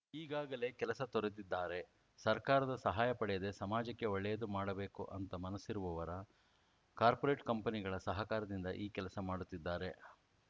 ಈಗಾಗಲೇ ಕೆಲಸ ತೊರೆದಿದ್ದಾರೆ ಸರ್ಕಾರದ ಸಹಾಯ ಪಡೆಯದೆ ಸಮಾಜಕ್ಕೆ ಒಳ್ಳೆಯದು ಮಾಡಬೇಕು ಅಂತ ಮನಸ್ಸಿರುವವರ ಕಾರ್ಪೊರೇಟ್‌ ಕಂಪನಿಗಳ ಸಹಕಾರದಿಂದ ಈ ಕೆಲಸ ಮಾಡುತ್ತಿದ್ದಾರೆ